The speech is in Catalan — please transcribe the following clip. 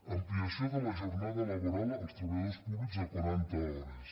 ampliació de la jornada laboral als treballadors públics a quaranta hores